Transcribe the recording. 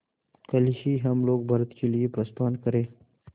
कल ही हम लोग भारत के लिए प्रस्थान करें